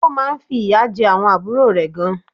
Ó má nfi ìyà je àwon àbúrò rè gan